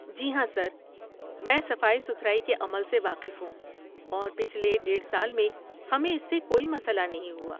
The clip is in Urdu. جی ہاں سر، میں صفائی ستھرائی کے عمل سے واقف ہوں اور پچھلے ڈیڈھ سال میں ہمیں اس سے کوئی مسئلہ نہیں ہوا